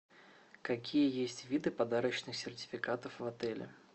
какие есть виды подарочных сертификатов в отеле